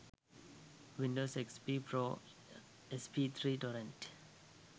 windows xp pro sp3 torrent